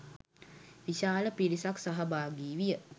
විශාල පිරිසක් සහභාගී විය.